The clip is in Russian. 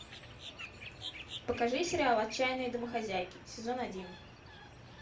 покажи сериал отчаянные домохозяйки сезон один